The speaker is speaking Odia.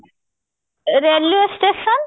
railway station